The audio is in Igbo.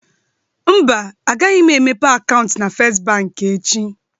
Mba, agaghị m emepe akaụntụ na First Bank echi